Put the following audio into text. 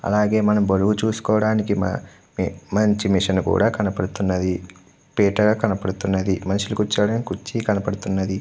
అలాగే మనం బరువు చూసుకోడానికి మా మంచి మెషీన్ కూడా కనపడుతున్నది. పీట్టలా కనపడుతున్నది. మనిషి కూర్చోవడానికి కుర్చీ కనబడుతున్నది.